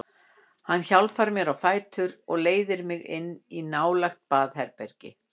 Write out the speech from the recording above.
Hann hjálpar mér á fætur og leiðir mig inn í nálægt baðherbergi.